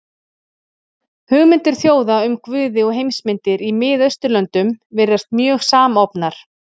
Hugmyndir þjóða um guði og heimsmyndir í Mið-Austurlöndum virðast mjög samofnar.